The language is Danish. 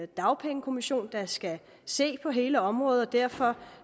dagpengekommission der skal se på hele området derfor